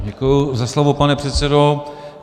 Děkuji za slovo, pane předsedo.